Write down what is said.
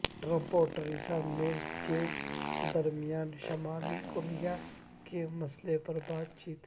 Trump اور Theresa May کے درمیان شمالی کوریا کے مسئلے پر بات چیت